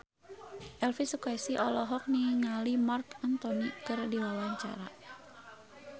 Elvy Sukaesih olohok ningali Marc Anthony keur diwawancara